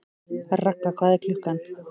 Ragga, hvað er klukkan?